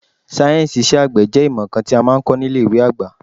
Sáyẹ̀nsì iṣẹ́ àgbẹ̀ jẹ́ ìmọ̀ kan tí a máa ń kọ ní ilé ìwé àgbà.